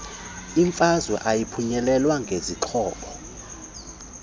imfazwe ayiphunyelelwa ngezixhobo